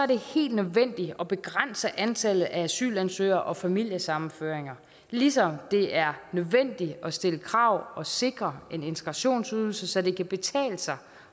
det helt nødvendigt at begrænse antallet af asylansøgere og familiesammenføringer ligesom det er nødvendigt at stille krav og sikre en integrationsydelse så det kan betale sig